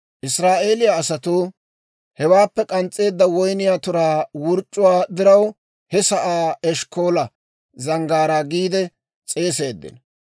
Israa'eeliyaa asatuu hewaappe k'ans's'eedda woyniyaa turaa wurc'c'uwaa diraw, he sa'aa Eshkkoola Zanggaaraa giide s'eeseeddino.